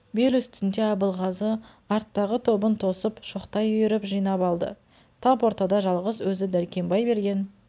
бел үстінде абылғазы арттағы тобын тосып шоқтай үйіріп жинап алды тап ортада жалғыз өзі дәркембай берген